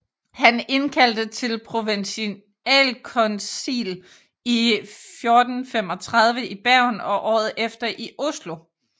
Han indkaldte til provensialkoncil i 1435 i Bergen og året efter i Oslo